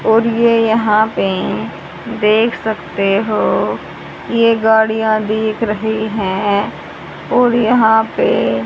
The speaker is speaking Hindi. और ये यहां पे देख सकते हो ये गाड़ियां दिख रही है और यहां पे--